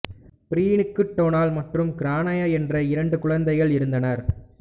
பிரீனுக்கு Donal மற்றும் Grania என்ற இரண்டு குழந்தைகள் இருந்தனர்